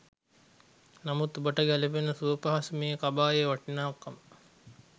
නමුත් ඔබට ගැ‍ලපෙන සුවපහසු මේ කබායේ වටිනාකම